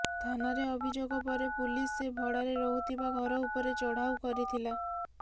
ଥାନାରେ ଅଭିଯୋଗ ପରେ ପୁଲିସ୍ ସେ ଭଡ଼ାରେ ରହୁଥିବା ଘର ଉପରେ ଚଢ଼ାଉ କରିଥିଲା